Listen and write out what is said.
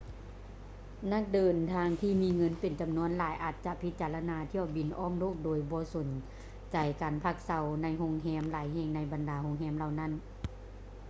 ນັກເດີນທາງທີ່ມີເງິນເປັນຈຳນວນຫຼາຍອາດຈະພິຈາລະນາຖ້ຽວບິນອ້ອມໂລກໂດຍບໍ່ສົນໃຈການພັກເຊົາໃນໂຮງແຮມຫຼາຍແຫ່ງໃນບັນດາໂຮງແຮມເຫຼົ່ານີ້